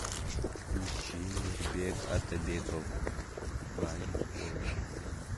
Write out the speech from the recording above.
включи мирбек атабеков бай болгом